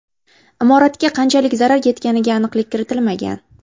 Imoratga qanchalik zarar yetganiga aniqlik kiritilmagan.